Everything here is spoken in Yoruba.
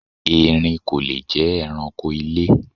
Erin kò le jé̩ eranko ilé.